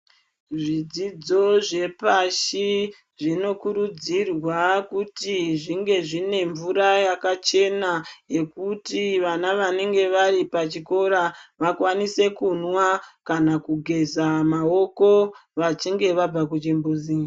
Zvidzidzo zvepashi zvinokurudzirwa kuti zvinge zvine mvura yakachena yekuti vana wanenge wari pachikora wakwanise kumwa kana kugeza maoko wachinge wabva kuchimbuzi.